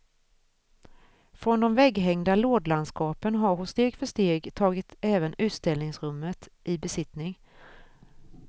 Från de vägghängda lådlandskapen har hon steg för steg tagit även utställningsrummet i besittning.